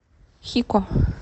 хико